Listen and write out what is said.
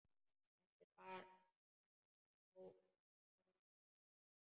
Þetta er bláköld alvara.